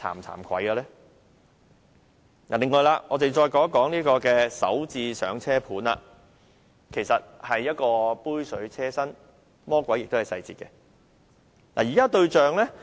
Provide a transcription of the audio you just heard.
此外，我們再談談"港人首置上車盤"，這措施其實杯水車薪，魔鬼亦在細節中。